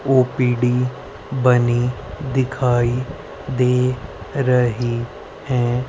OPD बनी दिखाई दे रही है।